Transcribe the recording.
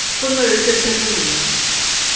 go na le thethelelo ya